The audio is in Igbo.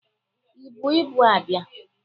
Ị bu ibu abịa?